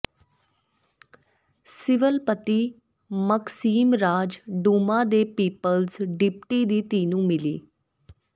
civil ਪਤੀ Maxim ਰਾਜ Duma ਦੇ ਪੀਪੁਲਜ਼ ਡਿਪਟੀ ਦੀ ਧੀ ਨੂੰ ਮਿਲੀ